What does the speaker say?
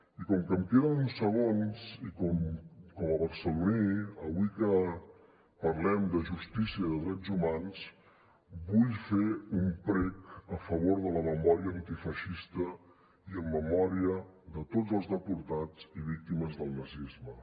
i com que em queden uns segons i com a barceloní avui que parlem de justícia i de drets humans vull fer un prec a favor de la memòria antifeixista i en memòria de tots els deportats i víctimes del nazisme